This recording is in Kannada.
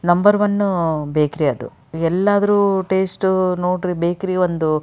ನಂಬರ್ ಒನ್ ಬೇಕರಿ ಅದು ಎಲ್ಲಾದ್ರೂ ಟೇಸ್ಟ್ ನೋಡಿ ಬೇಕರಿ ಒಂದು --